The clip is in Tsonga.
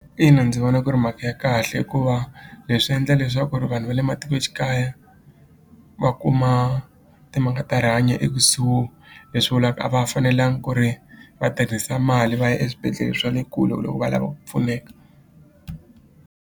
Ina ndzi vona ku ri mhaka ya kahle hikuva leswi endla leswaku ri vanhu va le matikoxikaya va kuma timhaka ta rihanyo ekusuhi leswi vulaka a va fanelanga ku ri va tirhisa mali va ya eswibedhlele swa le kule loko va lava ku pfuneka.